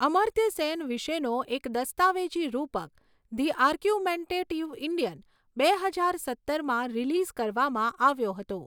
અમર્ત્ય સેન વિશેનો એક દસ્તાવેજી રૂપક, ધી આર્ગ્યુમેન્ટેટિવ ઈન્ડિયન, બે હજાર સત્તરમાં રિલીઝ કરવામાં આવ્યો હતો.